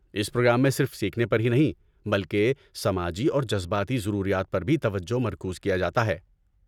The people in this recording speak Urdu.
اس پروگرام میں صرف سیکھنے پر ہی نہیں بلکہ سماجی اور جذباتی ضروریات پر بھی توجہ مرکوز کیا جاتا ہے۔